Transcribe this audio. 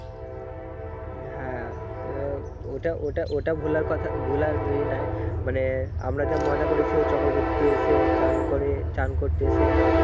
হ্যাঁ ওটা ওটা ওটা ভুলারি ই নাই মানে আমরা যা মজা করছি ওই চক্রবতী তে এসে চান করে চান করতে এসে